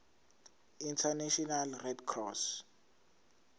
international red cross